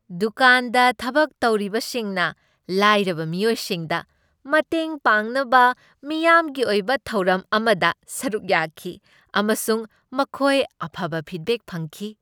ꯗꯨꯀꯥꯟꯗ ꯊꯕꯛ ꯇꯧꯔꯤꯕꯁꯤꯡꯅ ꯂꯥꯏꯔꯕ ꯃꯤꯑꯣꯏꯁꯤꯡꯗ ꯃꯇꯦꯡ ꯄꯥꯡꯅꯕ ꯃꯤꯌꯥꯝꯒꯤ ꯑꯣꯏꯕ ꯊꯧꯔꯝ ꯑꯃꯗ ꯁꯔꯨꯛ ꯌꯥꯈꯤ ꯑꯃꯁꯨꯡ ꯃꯈꯣꯏ ꯑꯐꯕ ꯐꯤꯗꯕꯦꯛ ꯐꯪꯈꯤ ꯫